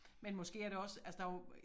Men måske er det også altså der jo